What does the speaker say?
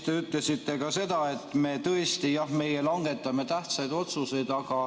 Te ütlesite ka seda, et me tõesti, jah, langetame tähtsaid otsuseid.